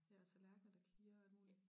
Ja og tallerkener der klirrer og alt muligt